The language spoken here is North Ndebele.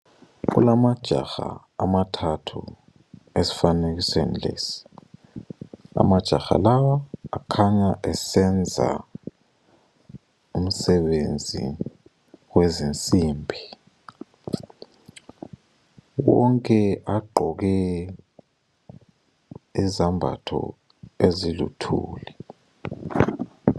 Kulamajaha amathathu esifanekisweni lesi. Amajaha lawa akhanya esenza umsebenzi wezinsimbi. Wonke agqoke izambatho eziluthuli.